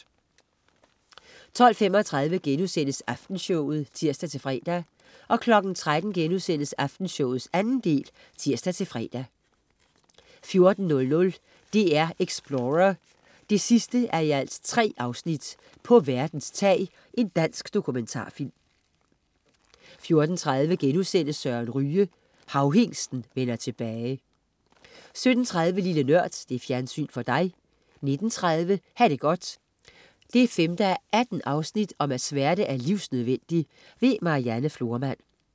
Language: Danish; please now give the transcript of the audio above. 12.35 Aftenshowet* (tirs-fre) 13.00 Aftenshowet 2. del* (tirs-fre) 14.00 DR-Explorer: 3:3 På verdens tag. Dansk dokumentarfilm 14.30 Søren Ryge.* Havhingsten vender tilbage 17.30 Lille Nørd. Fjernsyn for dig 19.30 Ha' det godt. 5:18 Smerte er livsnødvendig. Marianne Florman